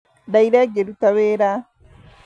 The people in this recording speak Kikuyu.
Ndaire ngĩruta wĩra